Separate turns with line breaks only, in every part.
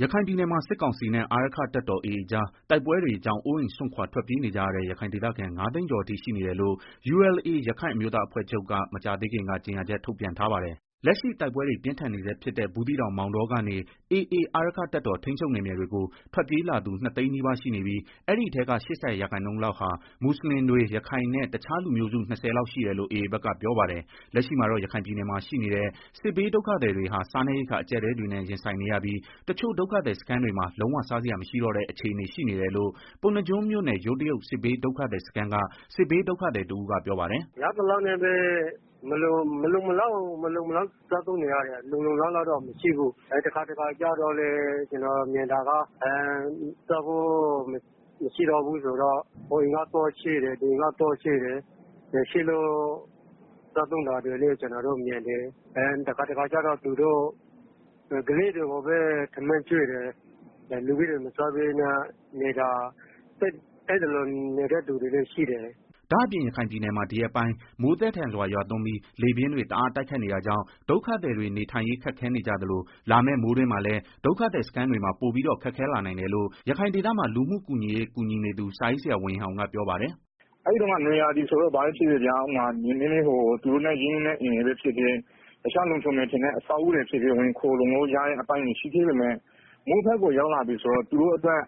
ရခိုင်ပြည်နယ်မှာ စစ်ကောင်စီနဲ့ အာရက္ခတပ်တော် AA ကြား တိုက်ပွဲတွေကြောင့် အိုးအိမ်စွန့်ခွာ ထွက်ပြေးနေကြရတဲ့ ရခိုင်ဒေသခံ ၅သိန်းကျော်အထိရှိနေတယ်လို့ ULA ရက္ခိုင်အမျိုးသားအဖွဲ့ချုပ် က မကြာသေးခင်က ကြေညာချက်ထုတ်ပြန်ထားပါတယ်။ လက်ရှိတိုက်ပွဲတွေ ပြင်းထန်နေဆဲဖြစ်တဲ့ ဘူးသီးတောင် မောင်တောကနေ AA အာရက္ခတပ်တော် ထိန်းချုပ်နယ်မြေတွေကို ထွက်ပြေးလာသူ ၂သိန်းနီးပါးရှိနေပြီး အဲဒီထဲက ၈၀ ရာခိုင်နှုန်း လောက်ဟာ မွတ်ဆလင်တွေ ရခိုင်နဲ့ တခြားလူမျိုးစု ၂၀ လောက်ရှိတယ်လို့ AA ဘက်ကပြောပါတယ်။ လက်ရှိမှာတော့ ရခိုင်ပြည်နယ်မှာ ရှိနေတဲ့ စစ်ဘေးဒုက္ခသည်တွေဟာ စားနပ်ရိက္ခာ အကျပ်အတည်းတွေနဲ့ ရင်ဆိုင်နေရပြီး တချို့ဒုက္ခသည်စခန်းတွေမှာ လုံးဝစားစရာမရှိတော့တဲ့ အနေအခြေနေ ဖြစ်တယ်လို့ပုဏ္ဏားကျွန်းမြို့နယ် ယိုးတရုတ်စစ်ဘေးဒုက္ခသည်စခန်းက စစ်ဘေးဒုက္ခသည်တဦးကပြောပါတယ်။
“ မလုံမလောက်စားသုံးနေရတယ်၊ လုံလုံလောက်လောက်တော့ မရှိဘူး၊ တခါတခါကျတော့ လေးစားဖို့ မရှိတော့ဘူးဆိုတော့ ဟိုကသွားချေးလိုက် ဒီကသွားချေးလိုက်နဲ့ အဲလိုစားနေကြတာလည်းမြင်ရတယ်။ တခါတလေကျတော့လည်း သူတို့က ကလေးတွေကိုပဲ ထမင်း ကျွေးပြီးတော့ လူကြီးတွေက မစားပဲနေကြတယ်၊ အဲလိုနေတဲ့သူတွေလည်းရှိတယ်။”
ဒါ့အပြင်ရခိုင်ပြည်နယ်မှာ ဒီရက်ပိုင်း မိုးသည်းထန်စွာရွာသွန်းပြီး လေပြင်းတွေတအား တိုက်ခတ်နေ တာကြောင့် ဒုက္ခသည်တွေ နေထိုင်ရေးခက်ခဲနေကြသလို လာမယ့် မိုးတွင်းမှာလည်း ဒုက္ခသည်စခန်းတွေမှာ ပိုပြီးတော့ ခက်ခဲလာနိုင်တယ်လို့ ရခိုင်ဒေသမှာ လူမှုကူညီရေး ဆောင်ရွက်နေသူ စာရေးဆရာဝေဟင်အောင်က ပြောပါတယ်
။ “ နွေရာသီတုန်းက ဆိုရင်တော့ တခြားအဆောက်အဦတွေ သူတို့နဲ့ ရင်းနှီးတဲ့အိမ်တွေမှာ ခိုလုံလို့ ရတာတွေရှိပေမဲ့ မိုးရာသီဆိုရင် သူတို့အတွက်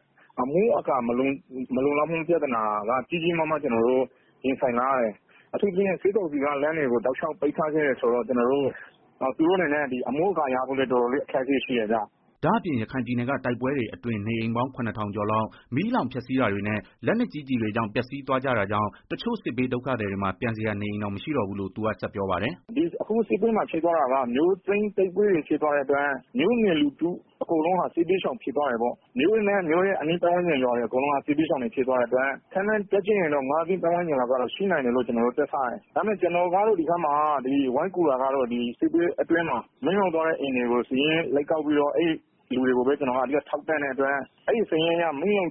အမိုးအကာမလုံလောက်မှုပြဿနာကို ကြီးကြီးမားမားရင်ဆိုင်လာရတယ်၊ အထူးသဖြင့် စစ်ကောင်စီက လမ်းတွေကို တောက်လျှောက်ပိတ်ထားခဲ့တာဆိုတော့ သူတို့အနေနဲ့ အမိုးအကာရဖို့ တော်တော်လေး အခက်အခဲရှိတယ်ဗျာ။”
ဒါ့အပြင် ရခိုင်ပြည်နယ်က တိုက်ပွဲတွေအတွင်း နေအိမ်ပေါင်း ၇ဝဝဝ ကျော်လောက် မီးလောင်ပျက်စီးတာတွေနဲ့လက်နက်ကြီးကျည်တွေကြောင့် ပျက်စီးသွားကြတာကြောင့် တချို့စစ်ဘေးဒုက္ခသည်တွေမှာ ပြန်စရာနေအိမ်တောင်မရှိတော့ဘူးလို့ သူကဆက် ပြောပါတယ်
။ “အခုစစ်ပွဲက မြို့သိမ်းတိုက်ပွဲတွေ ဖြစ်သွားတဲ့ အတွက် မြို့နယ် လူထုအကုန်လုံးဟာ စစ်ဘေးရှောင်ဖြစ်သွားတယ်ပေါ့၊ မြို့နဲ့ အနီးတဝိုက်ကျေးရွာက လူတွေလည်း အကုန်လုံး စစ်ဘေးရှောင်တွေ ဖြစ်သွားတဲ့ အတွက် ခန့်မှန်းတွက်ကြည့်ရင် ငါးသိန်းပတ်ဝန် ကျင်လောက် တော့ ရှိနိုင်တယ်လို့ ကျနော်တို့ တွက်ထားတယ်၊ ကျနော်ကတော့ ဒီဘက်မှာ မီးလောင် သွားတဲ့ အိမ်တွေကို စာရင်းကောက်ပြီးတော့ အဲဒီလူတွေကိုပဲ အဓိက ထောက်ပံ့့တဲ့အတွက် အခု ကျနော်တို့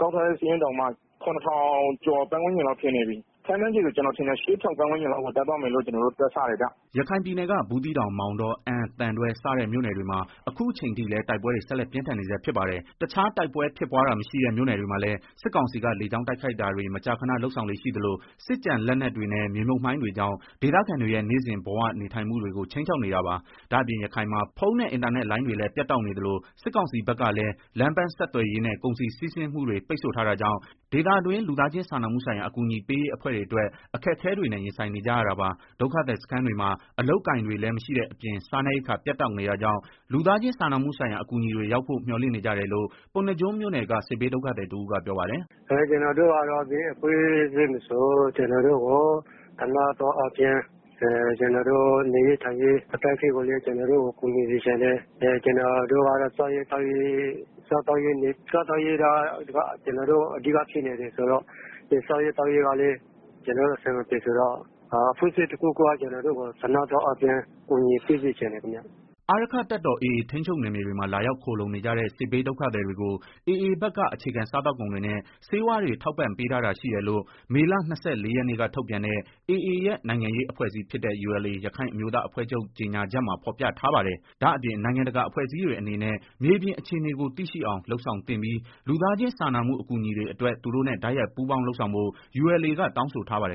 ကောက်ထားတဲ့ မီးလောက်သွားတဲ့ စာရင်းတောင်မှ နေအိမ် ရဝဝဝကျော် လောက်ရှိနေပြီး ခန့်မှန်းရရင် ၈ဝဝဝပတ်ဝန်းကျင်လောက်ရှိမယ်လို့ ကျနော်တွက် ထားတယ်ဗျာ
။” ရခိုင်ပြည်နယ်က ဘူးသီးတောင်၊ မောင်တော၊ အမ်း၊ သံတွဲ စတဲ့မြို့နယ်တွေမှာအခု အချိန်ထိလည်း တိုက်ပွဲတွေ ဆက်လက်ပြင်းထန်နေဆဲဖြစ်ပါတယ်။ တခြားတိုက်ပွဲဖြစ်ပွားတာမရှိတဲ့ မြို့နယ်တွေမှာလည်း စစ်ကောင်စီက လေကြောင်းတိုက်ခိုက်တာ တွေမကြာခဏလုပ်ဆောင်လေ့ရှိသလို စစ်ကျန်လက်နက်တွေနဲ့ မြေမြုပ်မိုင်းတွေကြောင့် ဒေသခံတွေရဲ့ နေ့စဉ်ဘဝနေထိုင်မှုဘဝတွေကို ခြိမ်းခြောက်နေတာပါ။ ဒါ့အပြင် ရခိုင်မှာ ဖုန်းနဲ့ အင်တာနက်လိုင်းတွေလည်း ပြတ်တောက်နေသလို စစ်ကောင်စီဘက်ကလည်း လမ်းပန်းဆက်သွယ်ရေး နဲ့ ကုန်စည်စီးဆင်းမှုတွေပိတ်ဆို့ထားတာကြောင့် ဒေသတွင်း လူသားချင်းစာနာမှုဆိုင်ရာအကူညီပေးရေးအဖွဲ့အတွက် အခက်အခဲတွေနဲ့ ရင်ဆိုင်နေကြရတာပါ။ ဒုက္ခသည်စခန်းတွေမှာ အလုပ်အကိုင်တွေလည်းမရှိတဲ့အပြင် စားနပ်ရိက္ခာပြတ်တောက် နေတာကြောင့် လူသားချင်းစာနာမှုဆိုင်ရာ အကူအညီတွေရောက်ဖို့ မျှော်လင့်နေကြတယ်လို့ ပုဏ္ဏားကျွန်းမြို့နယ်က စစ်ဘေးဒုက္ခသည်တဦးကပြောပါတယ်။
“ ဘယ်အဖွဲ့အစည်းမဆို ကျနော်တို့ကို သနားသောအားဖြင့် နေရေးထိုင်ရေးအခက် အခဲတွေကိုလည်း ကူညီစေချင်တယ်။ စားသောက်ဖို့ကလည်း ကျနော်တို့ အဓိက ခက်ခဲနေတာဆိုတော့ အဖွဲ့အစည်းတခုခုက ကျနော်တို့ကို ကူညီပေးစေချင်ပါတယ်။”
အာရက္ခတပ်တော် AA ထိန်းချုပ်နယ်မြေတွေမှာ လာရောက်ခိုလုံနေကြတဲ့ စစ်ဘေးဒုက္ခသည် တွေကို AAဘက်က အခြေခံစားသောက်ကုန်တွေနဲ့ ဆေးဝါးတွေထောက်ပံ့ပေးထား တာရှိတယ်လို့ မေလ ရက်နေ့က ထုန်ပြန်တဲ့ AA ရဲ့ နိုင်ငံရေးအဖွဲ့အစည်းဖြစ်တဲ့ ULA ရက္ခိုင်အမျိုးသားအဖွဲ့ချုပ် ကြေညာချက်မှာဖော်ပြထားပါတယ်။ ဒါအပြင် နိုင်ငံတကာအဖွဲ့အစည်းတွေအနေနဲ့ မြေပြင်အခြေအနေကို သိရှိအောင် လုပ်ဆောင်သင့်ပြီး လူသားချင်းစာနာမှုအကူအညီတွေအတွက် သူတို့နဲ့ တိုက်ရိုက်ပူးပေါင်းလုပ်ဆောင်ဖို့ ULA က တောင်းဆိုထားပါတယ်